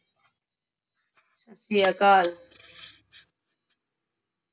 ਸਤਿ ਸ਼੍ਰੀ ਅਕਾਲ।